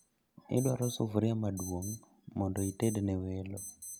Idwaro sufria maduong' mondo itedne welo